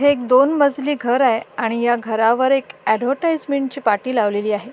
हे एक दोन मजली घर आहे आणि ह्या घरावर एक ऍडव्हर्टाइसमेन्ट ची एक पाटी लावलेली आहे.